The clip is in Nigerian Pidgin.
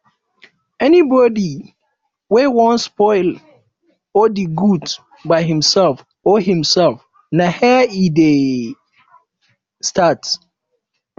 anybody wey won spoil or de good by himself or herself na here e de start